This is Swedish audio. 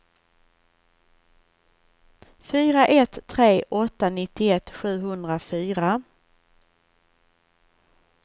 fyra ett tre åtta nittioett sjuhundrafyra